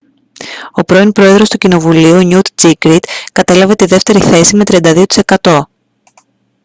ο πρώην πρόεδρος του κοινοβουλίου νιουτ τζίνγκριτ κατέλαβε τη δεύτερη θέση με 32 τοις εκατό